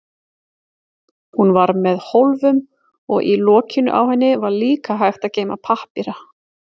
Hún var með hólfum og í lokinu á henni var líka hægt að geyma pappíra.